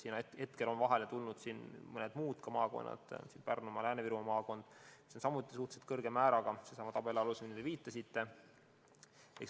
Praegu on vahele tulnud ka mõned muud maakonnad: Pärnumaa, Lääne-Viru maakond, mis on suhteliselt samasuguse määraga sellessamas tabelis, millele te viitasite.